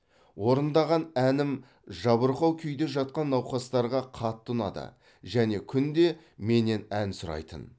орындаған әнім жабырқау күйде жатқан науқастарға қатты ұнады және күнде менен ән сұрайтын